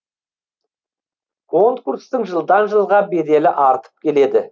конкурстың жылдан жылға беделі артып келеді